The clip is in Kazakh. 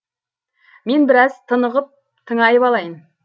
мен біраз тынығып тыңайып алайын